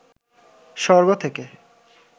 স্বর্গ থেকে